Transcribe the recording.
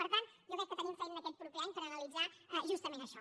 per tant jo crec que tenim feina aquest proper any per analitzar justament això